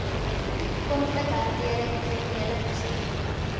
konflikhantering kriminele prosedure